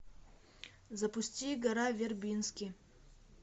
запусти гора вербински